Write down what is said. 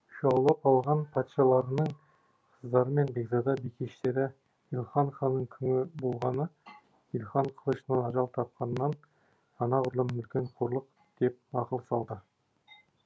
жаулап алған патшаларының қыздары мен бекзада бикештері илхан ханының күңі болғаны илхан қылышынан ажал тапқанынан анағұрлым үлкен қорлық деп ақыл салды